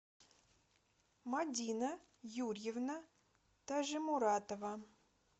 мадина юрьевна тажимуратова